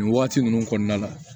Nin waati ninnu kɔnɔna la